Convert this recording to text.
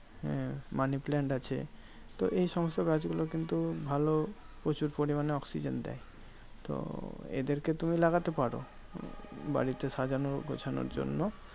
হ্যাঁ money plant আছে তো এই সমস্ত গাছগুলো কিন্তু ভালো প্রচুর পরিমানে oxygen দেয়। তো এদেরকে তুমি লাগাতে পারো, বাড়িতে সাজানো গোছানোর জন্য।